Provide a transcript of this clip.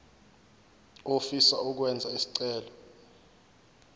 ofisa ukwenza isicelo